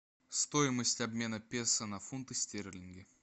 стоимость обмена песо на фунты стерлинги